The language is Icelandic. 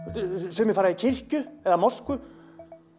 sumir fara í kirkju eða mosku